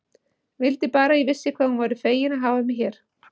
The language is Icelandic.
Vildi bara að ég vissi hvað hún væri fegin að hafa mig hér.